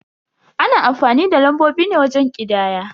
Ana amfani da lambobi ne wajen ƙidaya.